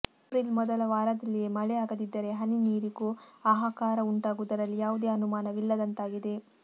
ಏಪ್ರಿಲ್ಮೊದಲ ವಾರದಲ್ಲಿಯೇ ಮಳೆ ಆಗದಿದ್ದರೆ ಹನಿ ನೀರಿಗೂ ಆಹಾಕಾರ ಉಂಟಾಗುವುದರಲ್ಲಿ ಯಾವುದೇ ಅನುಮಾನವಿಲ್ಲದಂತಾಗಿದೆ